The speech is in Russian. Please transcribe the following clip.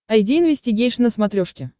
айди инвестигейшн на смотрешке